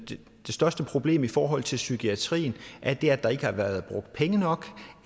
det største problem i forhold til psykiatrien er det at der ikke været brugt penge nok